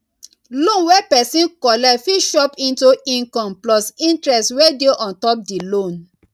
loan wey person collect fit chop into income plus interest wey dey on top di loan